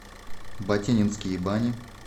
батенинские бани